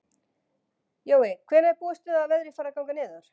Jói, hvenær er búist við að veðrið fari að ganga niður?